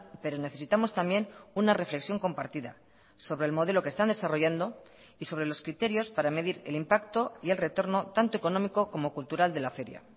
pero necesitamos también una reflexión compartida sobre el modelo que están desarrollando y sobre los criterios para medir el impacto y el retorno tanto económico como cultural de la feria